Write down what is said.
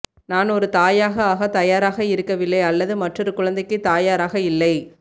நான் ஒரு தாயாக ஆக தயாராக இருக்கவில்லை அல்லது மற்றொரு குழந்தைக்கு தயாராக இல்லை